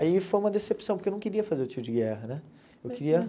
Aí foi uma decepção, porque eu não queria fazer o tiro de guerra, né? Eu queria